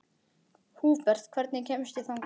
Húbert, hvernig kemst ég þangað?